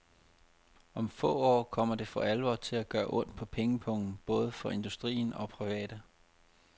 Om få år kommer det for alvor til at gøre ondt på pengepungen, både for industrien og private.